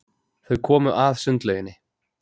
Þau komu að sundlauginni.